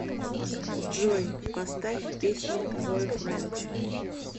джой поставь песня бойфренд